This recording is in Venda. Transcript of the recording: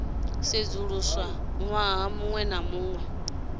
sedzuluswa ṅwaha muṅwe na muṅwe